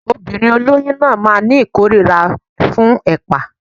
Obìnrin olóyún náà máa ní kórira fún ẹ̀pà